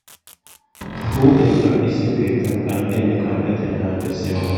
Huuphphiyaa qanxisiyoo keettan qanxxiyaanne qanxettiyaa na'aa bessiyaa malaataa